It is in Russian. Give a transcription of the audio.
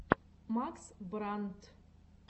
макс брандт